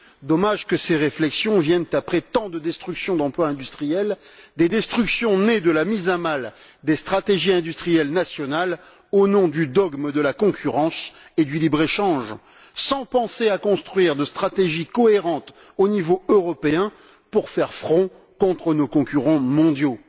Dommage que ces réflexions viennent après tant de destructions d'emplois industriels, des destructions nées de la mise à mal des stratégies industrielles nationales au nom du dogme de la concurrence et du libre échange, sans que l'on ait pensé à construire de stratégie cohérente au niveau européen pour faire front contre nos concurrents mondiaux.